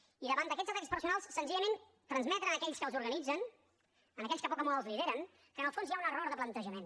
i davant d’aquests atacs personals senzillament transmetre a aquells que els organitzen a aquells que poc o molt els lideren que en el fons hi ha un error de plantejament